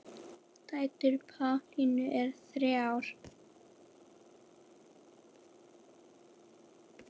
Dætur Pálínu eru þrjár.